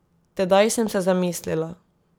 Tedaj sem se zamislila.